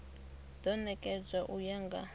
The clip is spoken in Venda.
do nekedzwa u ya nga